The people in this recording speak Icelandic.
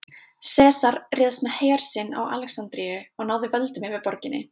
Sesar réðst með her sinn á Alexandríu og náði völdum yfir borginni.